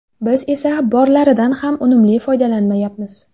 Biz esa borlaridan ham unumli foydalanmayapmiz.